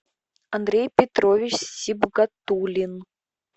андрей петрович сибгатулин